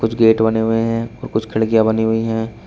कुछ गेट बने हुए हैं और कुछ खिड़कियां बनी हुई हैं।